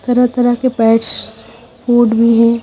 तरह तरह का पैटस फ़ूड भी है।